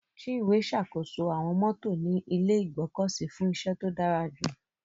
Chinwe ṣàkóso àwọn mọ́tò ní ilé ìgbọ́kọ̀sí fún iṣẹ́ tó dára jù.